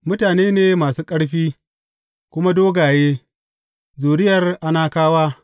Mutane ne masu ƙarfi, kuma dogaye, zuriyar Anakawa!